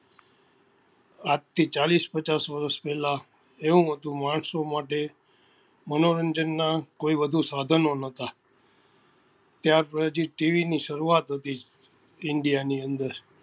આજ થી ચાળીસ પચાસ વર્ષ પેલા એવું હતું માણસો માટે મનોરંજન નાં કોઈ વધુ સાધનો નતા ત્યાર પછી જે સરુઆત હતી india ની અંદર